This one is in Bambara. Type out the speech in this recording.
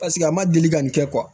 Paseke a ma deli ka nin kɛ